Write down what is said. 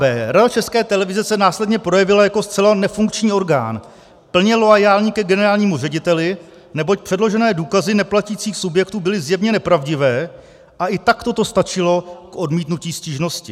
B. Rada České televize se následně projevila jako zcela nefunkční orgán, plně loajální ke generálnímu řediteli, neboť předložené důkazy neplatících subjektů byly zjevně nepravdivé a i takto to stačilo k odmítnutí stížnosti.